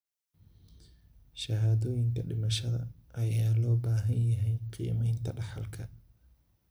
Shahaadooyinka dhimashada ayaa loo baahan yahay qiimeynta dhaxalka.